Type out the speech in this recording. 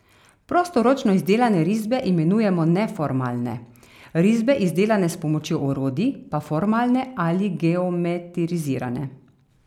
Prostoročno izdelane risbe imenujemo neformalne, risbe, izdelane s pomočjo orodij, pa formalne ali geometrizirane.